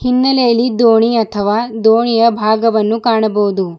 ಹಿನ್ನೆಲೆಯಲಿ ದೋಣಿ ಅಥವಾ ದೋಣಿಯ ಭಾಗವನ್ನು ಕಾಣಬಹುದು.